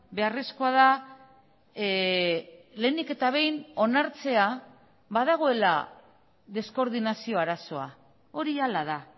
beharrezkoa da lehenik eta behin onartzea badagoela deskoordinazio arazoa hori hala da